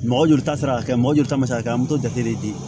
Mɔgɔ joli ta tɛ se ka kɛ mɔgɔ joli ta bɛ se ka kɛ an m'o jate de